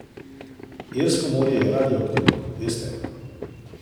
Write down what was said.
Irsko morje je radioaktivno, veste.